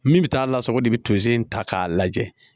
Min bɛ taa lasago de bɛ tose in ta k'a lajɛ